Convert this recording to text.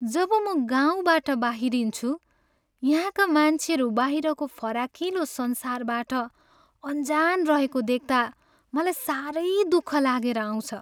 जब म गाउँबाट बाहिरिन्छु, यहाँका मान्छेहरू बाहिरको फराकिलो संसारबाट अनजान रहेको देख्ता मलाई सारै दुख लागेर आउँछ।